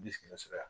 Bilisi bɛ sɔrɔ